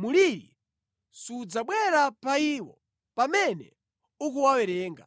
mliri sudzabwera pa iwo pamene ukuwawerenga.